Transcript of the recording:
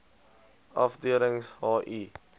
afdelings h i